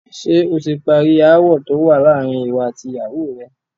Ṣẹ oti parí ááwò tówà láàárín ìwọ àti ìyàwó rẹ?